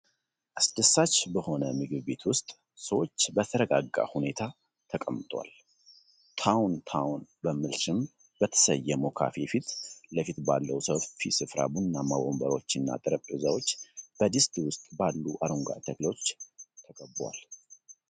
አስደሳች በሆነ ምግብ ቤት ውስጥ፣ ሰዎች በተረጋጋ ሁኔታ ተቀምጠዋል። “ታውን ታውን” በሚል ስም በተሰየመው ካፌ ፊት ለፊት ባለው ሰፊ ስፍራ ቡናማ ወንበሮችና ጠረጴዛዎች በድስት ውስጥ ባሉ አረንጓዴ ተክሎች ተከበዋል።